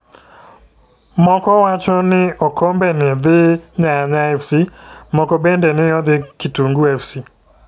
Moko wacho no okombe ni dhi nyanya fc moko bende ni odhi nkitungi fc.